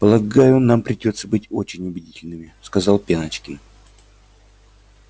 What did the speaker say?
полагаю нам придётся быть очень убедительными сказал пеночкин